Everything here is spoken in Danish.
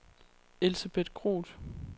Elsebeth Groth